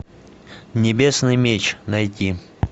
небесный меч найти